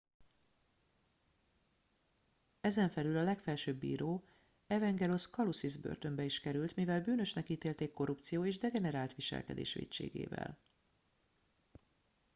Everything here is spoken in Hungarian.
ezenfelül a legfelsőbb bíró evangelos kalousis börtönbe is került mivel bűnösnek ítélték korrupció és degenerált viselkedés vétségével